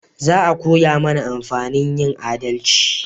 Za a koya mana amfanin yin adalci